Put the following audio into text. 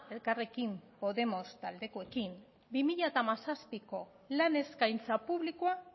elkarrekin podemos taldekoekin bi mila hamazazpiko lan eskaintza publikoa